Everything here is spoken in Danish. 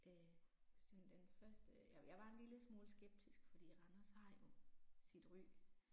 Øh sådan den første jeg jeg var en lille smule skeptisk fordi Randers har jo sit ry